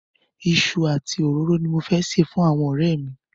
Iṣu àti òróró ni mo máa sè fún àwọn ọ̀rẹ́ mi.